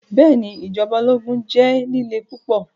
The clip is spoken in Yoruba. Bẹẹni, ijọba ologun jẹ lile pupọ